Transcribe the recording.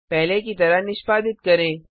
पहले की तरह निष्पादित करें